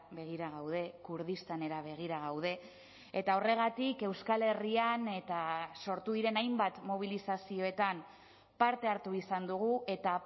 begira gaude kurdistanera begira gaude eta horregatik euskal herrian eta sortu diren hainbat mobilizazioetan parte hartu izan dugu eta